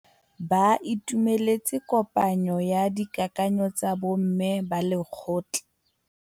Ba itumeletse kôpanyo ya dikakanyô tsa bo mme ba lekgotla.